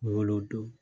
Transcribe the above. Wolo don